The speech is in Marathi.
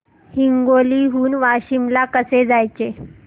हिंगोली हून वाशीम ला कसे जायचे